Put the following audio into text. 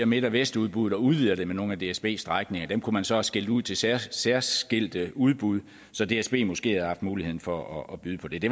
midt vest udbuddet og udvider det med nogle af dsbs strækninger dem kunne man så have skilt ud til særskilte særskilte udbud så dsb måske havde haft mulighed for at byde på det det